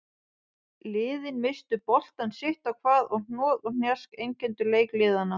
Liðin misstu boltann sitt á hvað og hnoð og hnjask einkenndu leik liðanna.